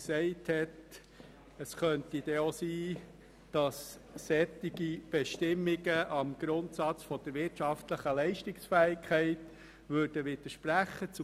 Dieses hat einmal gesagt, es sei möglich, dass solche Bestimmungen dem Grundsatz der wirtschaftlichen Leistungsfähigkeit widersprechen können.